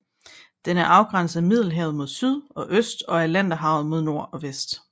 Den er afgrænset af Middelhavet mod syd og øst og af Atlanterhavet mod nord og vest